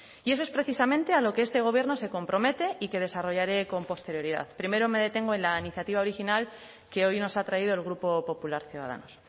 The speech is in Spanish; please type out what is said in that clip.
y eso es precisamente a lo que este gobierno se compromete y que desarrollaré con posterioridad primero me detengo en la iniciativa original que hoy nos ha traído el grupo popular ciudadanos